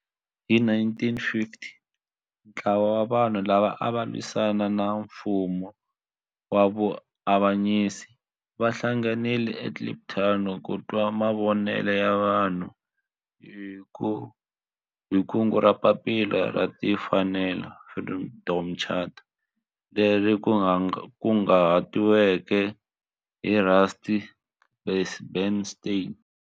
Hi 1955 ntlawa wa vanhu lava ava lwisana na nfumo wa avanyiso va hlanganile eKliptown ku twa mavonelo ya vanhu hi kungu ra Papila ra Tinfanelo, Freedom Charter leri kunguhatiweke hi Rusty Bernstein.